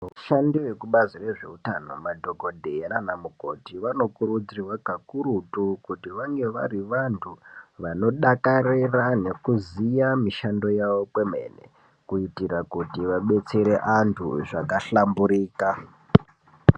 Vashandi vekubazi rezveutano madhokodheya naanamukoti, vanokurudzirwe kakurutu kuti vange vari vantu, vanodakarira nekuziya mishando yavo kwemene, kuitira kuti vabetsere antu zvakahlamburika.